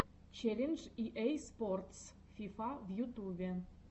челлендж и эй спортс фифа в ютубе